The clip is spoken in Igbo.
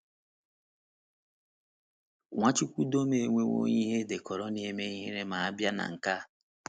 Nwachukwudọm enwewo ihe edekọrọ na - eme ihere ma a bịa na nke a.